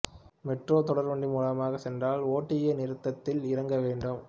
metro தொடர் வண்டி மூலமாகச் சென்றால் ஓடிஏ நிறுத்தத்தில் இறங்க வேண்டும்